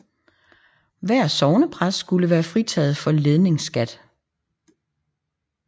Hver sognepræst skulle være fritaget for ledingsskat